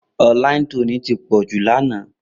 Online Trolling ti pọ̀ jù lánàá.